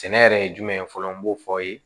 Sɛnɛ yɛrɛ ye jumɛn ye fɔlɔ n b'o fɔ